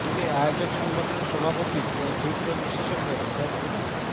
এতে আয়োজক সংগঠনের সভাপতি ও হৃদরোগ বিশেষজ্ঞ অধ্যাপক ডা